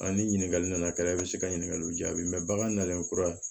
A ni ɲininkali nana kɛ e bɛ se ka ɲininkaliw jaabi bagan nalen kura